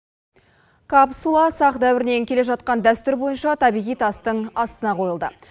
капсула сақ дәуірінен келе жатқан дәстүр бойынша табиғи тастың астына қойылды